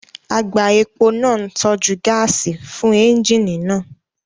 Àgbá epo náà ń tọ́jú gáàsì fún ẹ́ńjíìnì náà